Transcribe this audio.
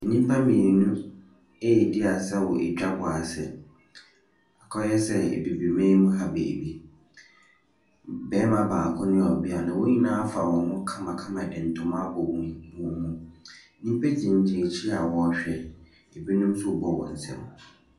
Nnipa mmienu ɛredi asa wɔ adwabɔ ase, akɔyɛ sɛ abibiman mu ha beebi, barima baako ne ɔbea no wɔn nyinaa afa wɔn ho kamakama de ntoma abɔ wɔn mu. Nnipa gyina akyi a wɔrehwɛ na binom nso ɛrebɔ wɔn nsa mu.